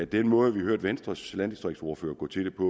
den måde vi hørte venstres landdistriktsordfører gå til det på